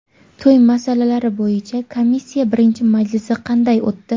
To‘y masalalari bo‘yicha komissiya birinchi majlisi qanday o‘tdi?.